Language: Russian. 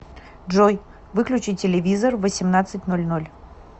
джой выключи телевизор в восемнадцать ноль ноль